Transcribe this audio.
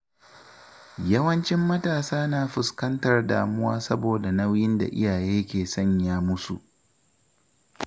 Yawancin matasa na fuskantar damuwa saboda nauyin da iyaye ke sanya musu.